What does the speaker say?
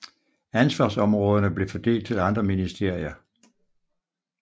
Ansvarsområderne blev fordelt til andre ministerier